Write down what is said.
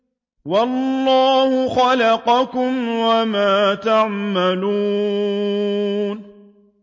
وَاللَّهُ خَلَقَكُمْ وَمَا تَعْمَلُونَ